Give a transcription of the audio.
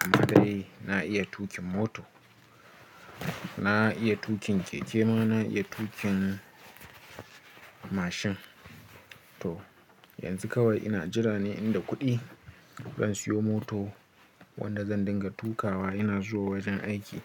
Amma dai na iya tuƙin mota, na iya tuƙin keke ma na iya tuƙin mashin. To yanzu kawai ina jira ne inda kuɗi zan siyo moto wanda zan dinga tukawa ina zuwa wajen aiki.